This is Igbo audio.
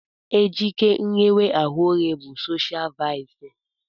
Njike nghewa ahụ oghe bụ soshial vaịsị.